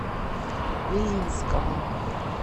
белинского